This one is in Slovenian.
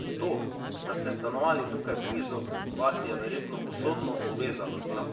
To, da ste stanovali tukaj blizu, vas je verjetno usodno povezalo z njo?